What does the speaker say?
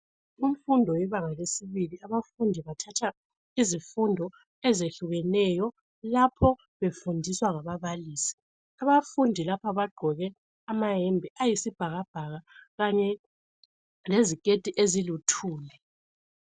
kumfundo yebanga lesibili abafundi bathatha izifundo ezehlukeneyo lapho befundiswa ngababalisi abafundi lapha bagqoke ama yembe ayisibhakabhaka kanye leziketi eziluthuli